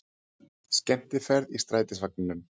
Skemmtiferð í strætisvagninum